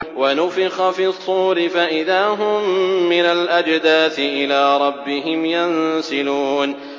وَنُفِخَ فِي الصُّورِ فَإِذَا هُم مِّنَ الْأَجْدَاثِ إِلَىٰ رَبِّهِمْ يَنسِلُونَ